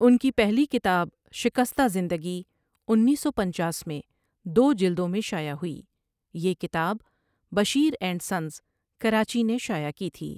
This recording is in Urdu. ان کی پہلی کتاب شکستہ زندگی انیس سو پنچاس میں دو جلدوں میں شائع ہوئی یہ کتاب بشیر اینڈ سنز کراچی نے شائع کی تھی ۔